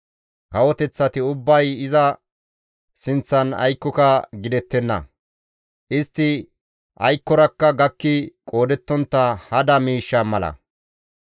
Kawoteththati ubbay iza sinththan aykkoka gidettenna; istti aykkorakka gakki qoodettontta hada miishsha mala.